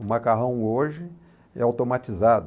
O macarrão hoje é automatizado.